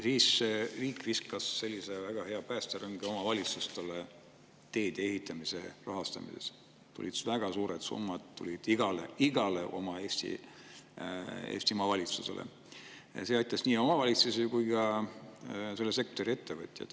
Siis viskas riik väga hea päästerõnga omavalitsustele teede ehitamise rahastamiseks: väga suured summad tulid igale Eesti omavalitsusele ja see aitas nii omavalitsusi kui ka selle sektori ettevõtjaid.